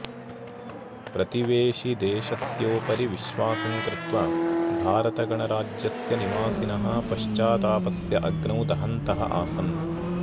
प्रतिवेशिदेशस्योपरि विश्वासं कृत्वा भारतगणराज्यस्य निवासिनः पश्चातापस्य अग्नौ दहन्तः आसन्